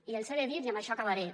i els he de dir i amb això acabaré